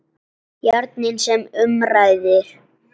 Járnin sem um ræðir.